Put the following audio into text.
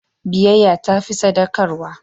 Biyayya ta fi sadaukarwa.